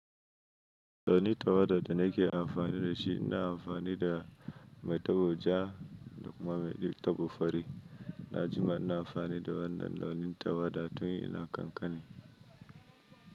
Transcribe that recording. Launi tawwada da nake amfani da shi, ina amfani da mai tabo ja da kuma mai ɗibi tabo fari. Na jima ina amfani da wannan launin tawada tun ina kankani.